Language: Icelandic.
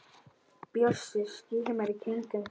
Bjössi skimar í kringum sig.